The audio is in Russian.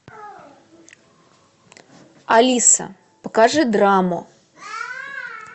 алиса покажи драму